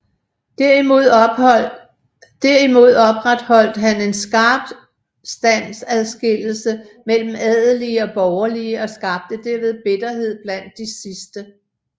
Derimod opretholdt han en skarp standsadskillelse mellem adelige og borgerlige og skabte derved bitterhed blandt de sidste